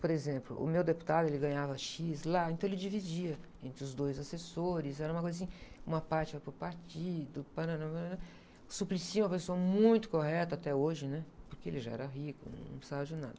Por exemplo, o meu deputado ele ganhava X lá, então ele dividia entre os dois assessores, era uma coisa assim, uma parte vai para o partido, Suplicy é uma pessoa muito correta até hoje, né? Porque ele já era rico, não precisava de nada.